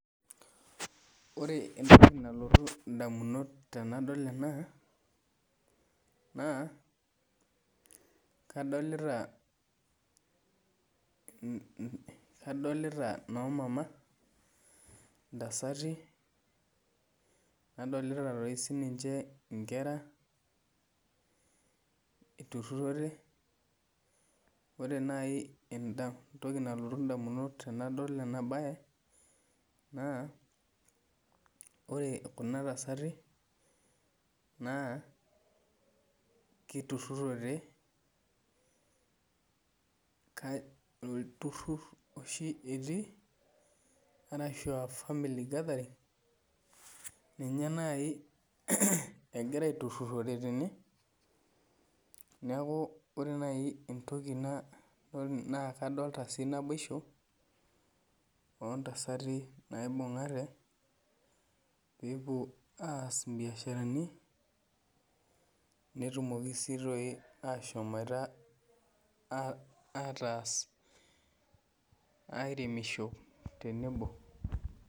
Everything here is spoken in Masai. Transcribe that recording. Ore entoki nalotu indamunot tenadol ena naa kadolita, kadolita noomama ntasati, nadolita toi siininche inkera iturrurrote. Ore naai entoki nalotu indamunot tenadol ena bae naa ore kuna tasati naa kiturrurrote, olturrurr oshi etii arashu aa family gathering ninye naai egira aiturrurrore tene. Neeku ore naai entoki naakadolita sii naboishu oo ntasati naibung'ate peepwo aas imbiasharani netumoki sii toi ashomoita aataas airemisho tenebo